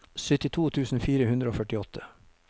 syttito tusen fire hundre og førtiåtte